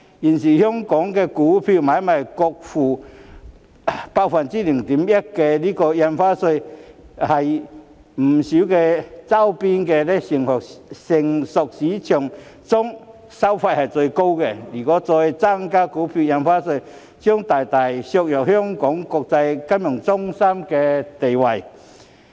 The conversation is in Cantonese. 現時香港股票買賣雙方各付 0.1% 印花稅，在周邊不少成熟股票市場中收費最高；如果再增加印花稅，將大大削弱香港作為國際金融中心的地位。